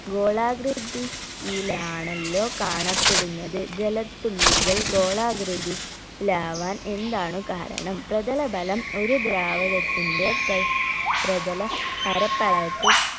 ഗോളാകൃതി യിലാണല്ലോ കാണപ്പെടുന്നത് ജലത്തുള്ളികൾ ഗോളാകൃതി യിലാവാൻ എന്താണ് കാരണം പ്രതലബലം ഒരു ദ്രാവകത്തിന്റെ പ്ര പ്രതല പരപ്പളവ്